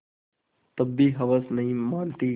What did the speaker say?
तब भी हवस नहीं मानती